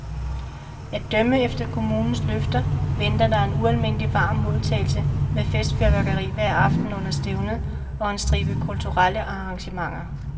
At dømme efter kommunens løfter venter der en ualmindelig varm modtagelse med festfyrværkeri hver aften under stævnet og en stribe kulturelle arrangementer.